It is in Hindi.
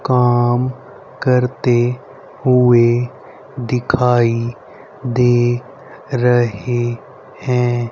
काम करते हुए दिखाई दे रहे है--